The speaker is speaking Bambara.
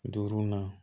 Duurunan